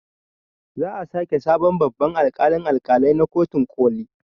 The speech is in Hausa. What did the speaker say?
Za a sake sabon babban alƙalin alƙalai na kotun ƙoli